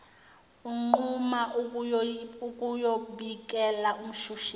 unquma ukuyobikela umshushisi